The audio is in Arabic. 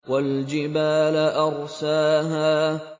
وَالْجِبَالَ أَرْسَاهَا